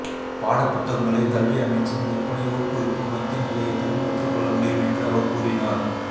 பாடப்புத்தகங்களை கல்வி அமைச்சின் விற்பனை ஊக்குவிப்பு மத்திய நிலையத்திலும் பெற்றுக் கொள்ள முடியும் என்று அவர் கூறினார்